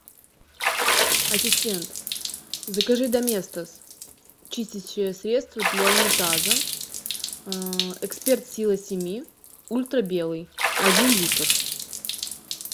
ассистент закажи доместос чистящее средство для унитаза эксперт сила семи ультра белый один литр